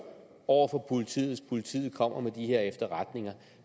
over for politiet hvis politiet kommer med de her efterretninger